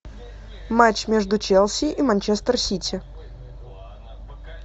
матч между челси и манчестер сити